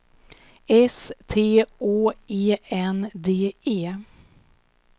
S T Å E N D E